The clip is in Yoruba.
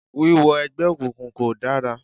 Wíwọ ẹgbẹ́ òkùnkùn kò dára